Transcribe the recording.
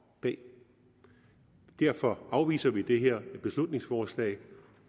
det derfor afviser vi det her beslutningsforslag